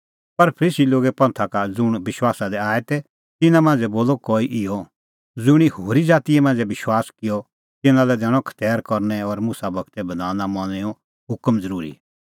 पर फरीसी लोगे पंथा का ज़ुंण विश्वासा दी आऐ तै तिन्नां मांझ़ै बोलअ कई इहअ ज़ुंणी होरी ज़ाती मांझ़ै विश्वास किअ तिन्नां लै दैणअ खतैर करनै और मुसा गूरे बधान मनणैंओ हुकम ज़रूरी